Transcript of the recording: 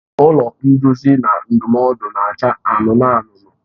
Ụlọ nduzi na ndụmọdụ na-acha anụnụ anụnụ.